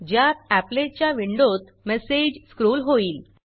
ज्यात एपलेट च्या विंडोत मेसेज स्क्रॉल होईल